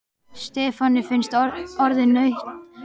Stefáni fannst orðið nautn að reykja.